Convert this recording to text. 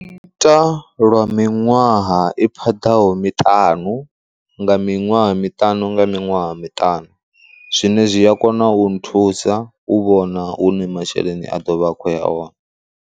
ita lwa miṅwaha i phaḓaho miṱanu nga miṅwaha miṱanu nga miṅwaha miṱanu, zwine zwi a kona u nthusa u vhona hune masheleni a ḓovha a khou ya hone.